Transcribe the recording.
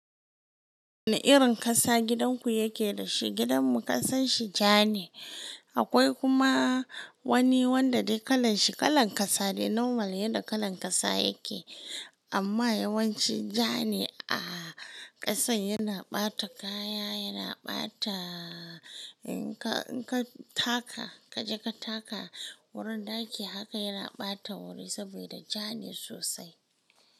Wane irin ƙasa gidanku yake da shi? Gidanmu ƙasan shi ja ne. Akwai kuma wani wanda dai kalan shi kalan ƙasa dai normal yanda kalan ƙasa yake. Amma yawanci ja ne. Ah ƙasan yana ɓata kaya, yana ɓata in ka, in ka taka kaje ka taka wurin ɗaki haka yana ɓata wuri saboda ja ne sosai.